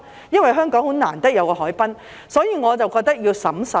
因為香港很難得有一個海濱，所以我覺得要審慎。